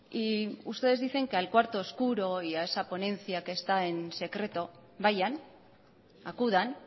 y ustedes dicen que al cuarto oscuro y a esa ponencia que está en secreto vayan acudan